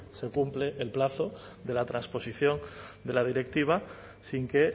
se cumple el plazo de la transposición de la directiva sin que